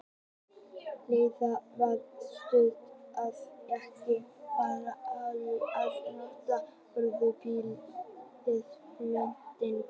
Leiðin var það stutt, að ekki var hagkvæmt að nota vörubíla við flutningana.